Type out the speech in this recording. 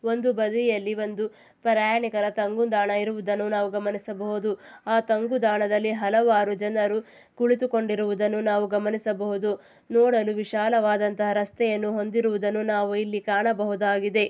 ಒಂದು ಬದಿಯಲ್ಲಿ ಒಂದು ಪ್ರಯಾಣಿಕರ ತಂಗುದಾಣ ಇರುವುದನ್ನು ನಾವು ಗಮನಿಸಬಹುದು ಆ ತಂಗುದಾಣ ಹಲವಾರು ಜನರು ಕುಳಿತುಕೊಂಡಿರುವುದನ್ನು ನಾವು ಗಮನಿಸಬಹುದು ನೋಡಲು ವಿಶಾಲವಾದ ರಸ್ತೆಯನ್ನು ಹೊಂದಿರುವುದನ್ನು ನಾವು ಇಲ್ಲಿ ನಾವು ಇಲ್ಲಿ ಕಾಣಬಹುದಾಗಿದೆ.